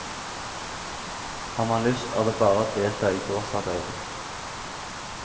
Har man lyst, er det bare å delta i gårdsarbeidet.